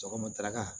Sɔgɔma daga kan